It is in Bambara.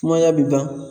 Kumada bɛ ban